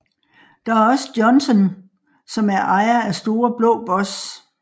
Der er også Johnsen som er ejer af Store blå boss